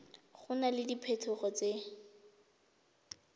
go na le diphetogo tse